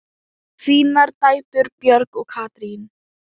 Þínar dætur, Björg og Katrín.